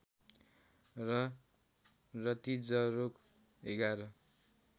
र रतिजरोग ११